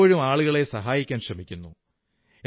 അവൾ എപ്പോഴും ആളുകളെ സഹായിക്കാൻ ശ്രമിക്കുന്നു